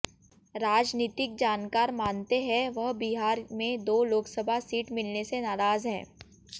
राजनीतिक जानकार मानते हैं वह बिहार में दो लोकसभा सीट मिलने से नाराज हैं